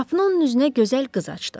Qapının onun üzünə gözəl qız açdı.